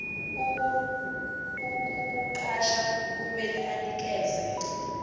ukukuqasha kumele anikeze